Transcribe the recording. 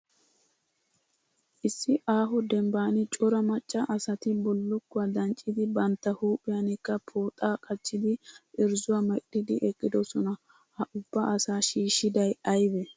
Issi aaho dembban cora macca asati bullukkuwa danccidi bantta huuphiyankka pooxaa qacidi irzuwa medhdhidi eqqidosona. Ha ubba asaa shiishshiday ayibee?